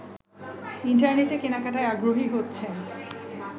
ইন্টারনেটে কেনাকাটায় আগ্রহী হচ্ছেন